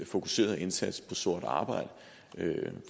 fokuseret indsats på sort arbejde